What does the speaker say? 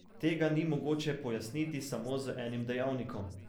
Tega ni mogoče pojasniti samo z enim dejavnikom.